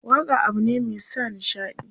waƙa abune Mai sa nishaɗi.